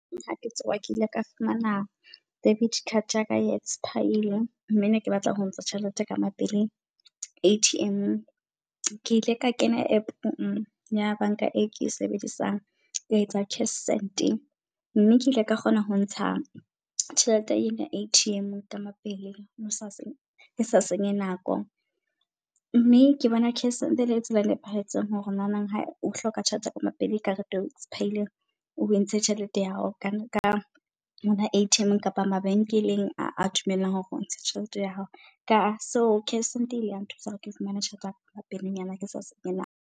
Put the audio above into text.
Ha ke tsoha ke ile ka fumana debit card ya ka e expire-ile, mme ne ke batla ho ntsha tjhelete ka mapele A_T_M-ong. Ke ile ka kena App-eng ya bank-a e ke sebedisang ka etsa cash send-e, mme ke ile ka kgona ho ntsha tjhelete ena A_T_M-eng ka mapele ke sa ke sa senye nako. Mme ke bona cash send ele tsela nepahetseng hore o nanang ha o hloka tjhelete ka mapele karete expire-ile. O entshe tjhelete ya hao ka di-A_T_M kapa mabenkeleng a dumelang hore o ntshe tjhelete ya hao. Ka so cash send ile ya nthusa hore ke fumane tjhelete yaka ka pelenyana ke sa senye nako.